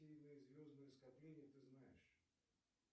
какие звездные скопления ты знаешь